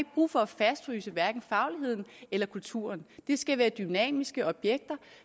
brug for at fastfryse fagligheden eller kulturen det skal være dynamiske objekter